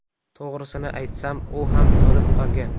To‘g‘risini aytsam, u ham to‘lib qolgan.